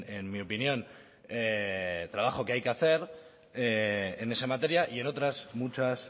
en mi opinión trabajo que hay que hacer en esa materia y en otras muchas